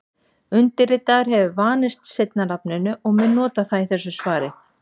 Undirritaður hefur vanist seinna nafninu og mun nota það í þessu svari.